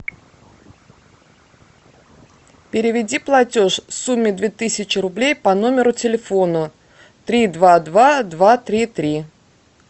переведи платеж в сумме две тысячи рублей по номеру телефона три два два два три три